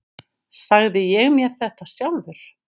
Sagði ég mér þetta sjálfur?